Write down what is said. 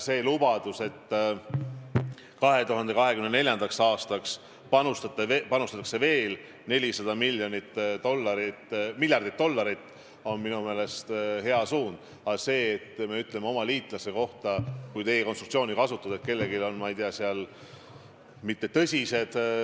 See lubadus, et 2024. aastaks panustatakse veel 400 miljardit dollarit, on minu meelest hea suund, aga sellega, kui me ütleme oma liitlaste kohta, kui teie konstruktsiooni kasutada, et kellelgi on, ma ei tea, mittetõsised sõjalised mehhanismid, mis heidutavad, ma kindlasti mitte grammigi nõustuda ei saa.